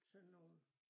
Sådan nogle